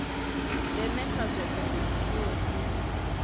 ndeme kha zwohe ndi mushumo